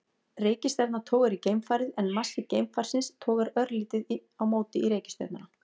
Reikistjarna togar í geimfarið en massi geimfarsins togar örlítið á móti í reikistjörnuna.